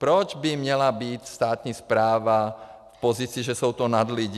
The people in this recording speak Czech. Proč by měla být státní správa v pozici, že to jsou nadlidi?